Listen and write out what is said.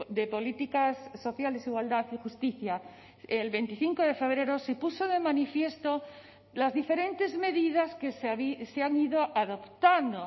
de políticas sociales igualdad y justicia el veinticinco de febrero se puso de manifiesto las diferentes medidas que se han ido adoptando